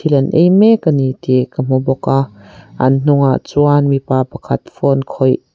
an ei mek a ni tih ka hmu bawk a an hnungah chuan mipa pakhat phone khawih.